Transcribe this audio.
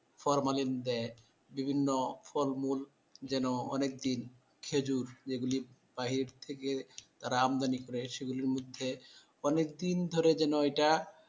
formalin দেয় বিভিন্ন ফলমূল যেন অনেক দিন খেজুর যেগুলো বাহির থেকে তারা আমদানি করে সেগুলোর মধ্যে অনেক দিন ধরে যেন এটা